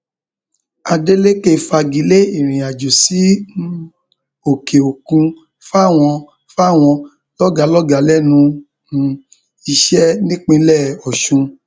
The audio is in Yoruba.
adélékè fagi lé ìrìnàjò sí um òkèòkun fáwọn fáwọn lọgàálọgàá lẹnu um iṣẹ nípínlẹ ọsùn